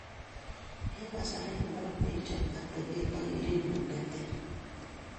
Eng' kasarii inomee ichob atebet ak kerengung neter